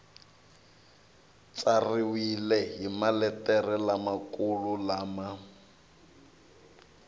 tsariwile hi maletere lamakulu lama